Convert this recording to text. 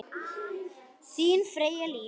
Þín Freyja Líf.